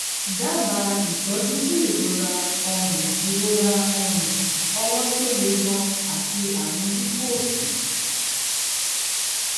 dábàá ìtọ́jú fún ìrora ọrùn ìrora ọrùn ọwọ́ tó le gan-an àti àrùn lúpọ́ọ̀sì